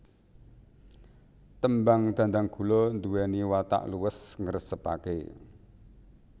Tembang Dhandhanggula nduweni watak luwes ngresepake